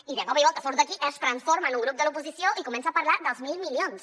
i de cop i volta surt aquí es transforma en un grup de l’oposició i comença a parlar dels mil milions